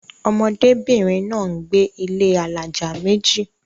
ọmọdé bìnrin náà gbé ilé alájà méjì